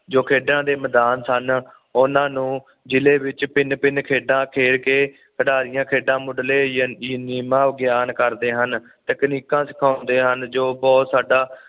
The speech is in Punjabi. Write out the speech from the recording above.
ਜੋ ਖੇਡਾਂ ਦੇ ਮੈਦਾਨ ਸਨ ਉਹਨਾਂ ਨੂੰ ਜਿਲ੍ਹੇ ਵਿਚ ਭਿੰਨ - ਭਿੰਨ ਖੇਡਾਂ ਖੇਡ ਕੇ ਖਿਡਾਰੀਆਂ ਖੇਡਾਂ ਮੁੱਢਲੇ ਨੀਯਮਾ ਵਿਗਿਆਨ ਕਰਦੇ ਹਨ ਤਕਨੀਕਾਂ ਸਿਖਿਓਂਦੇ ਹਨ ਜੋ ਕਿ ਸਾਡਾ